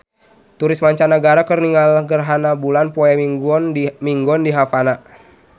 Turis mancanagara keur ningali gerhana bulan poe Minggon di Havana